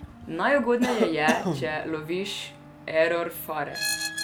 Najugodneje je, če loviš error fare.